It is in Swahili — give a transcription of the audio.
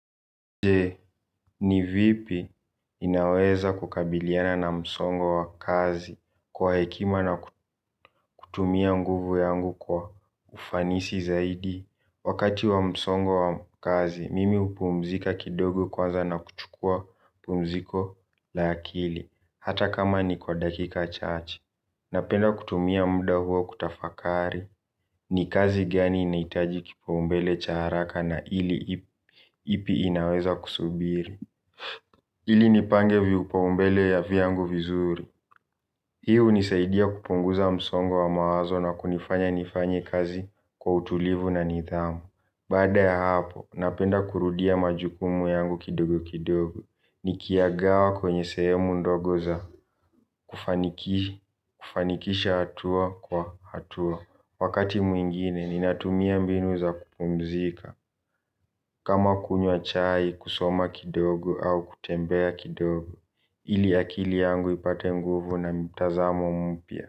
Je, ni vipi inaweza kukabiliana na msongo wa kazi kwa hekima na kutumia nguvu yangu kwa ufanisi zaidi. Wakati wa msongo wa kazi, mimi upumzika kidogo kwanza na kuchukua pumziko la akili. Hata kama ni kwa dakika chache. Napenda kutumia muda huo kutafakari ni kazi gani inahitaji kipaombele cha haraka na ili ipi inaweza kusubiri. Ili nipange viupaombele ya vyangu vizuri. Hii hunisaidia kupunguza msongo wa mawazo na kunifanya nifanye kazi kwa utulivu na nidhamu. Bada ya hapo, napenda kurudia majukumu yangu kidogo kidogo. Nikiyagawa kwenye sehemu ndogo za kufaniki kufanikisha hatua kwa hatua. Wakati mwingine, ninatumia mbinu za kupumzika. Kama kunywa chai, kusoma kidogo au kutembea kidogo. Ili akili yangu ipate nguvu na mtazamo mpya.